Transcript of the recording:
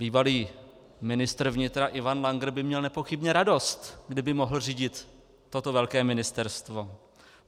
Bývalý ministr vnitra Ivan Langer by měl nepochybně radost, kdyby mohl řídit toto velké ministerstvo.